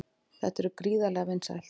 Þetta er gríðarlega vinsælt